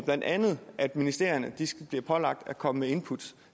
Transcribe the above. blandt andet at ministerierne bliver pålagt at komme med input